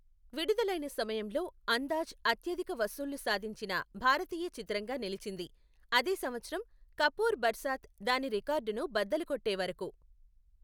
విడుదలైన సమయంలో, అందాజ్ అత్యధిక వసూళ్లు సాధించిన భారతీయ చిత్రంగా నిలిచింది, అదే సంవత్సరం కపూర్ బర్సాత్ దాని రికార్డును బద్దలు కొట్టే వరకు.